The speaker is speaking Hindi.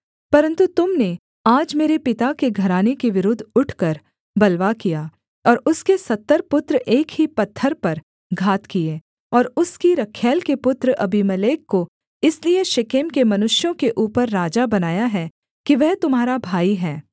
परन्तु तुम ने आज मेरे पिता के घराने के विरुद्ध उठकर बलवा किया और उसके सत्तर पुत्र एक ही पत्थर पर घात किए और उसकी रखैल के पुत्र अबीमेलेक को इसलिए शेकेम के मनुष्यों के ऊपर राजा बनाया है कि वह तुम्हारा भाई है